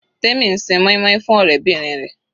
Temi ń ṣe moin-moin fún ọ̀rẹ́bìnrin rẹ̀.